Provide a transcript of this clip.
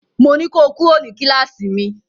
Mo ní ko kúrò ní kíláàsì mi!